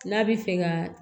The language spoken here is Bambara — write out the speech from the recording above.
N'a bɛ fɛ ka